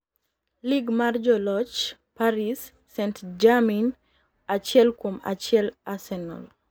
Lig mar Joloch: Paris St-Jermain achiel kuom achiel Arsenal